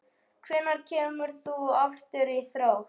Hvenær kemur þú aftur í Þrótt?